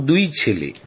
আমার দুই ছেলে